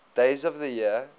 days of the year